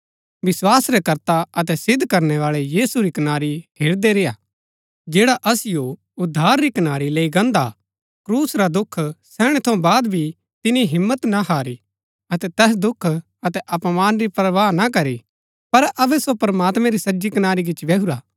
विस्वास रै कर्ता अतै सिद्ध करनै बाळै यीशु री कनारी हेरदै रेय्आ जैड़ा असिओ उद्धार री कनारी लैई गान्दा हा क्रूस का दुख सैहणै थऊँ बाद भी तिनी हिम्मत ना हारी अतै तैस दुख अतै अपमान री परवाह ना करी पर अबै सो प्रमात्मैं री सज्जी कनारी गिची बैहुरा हा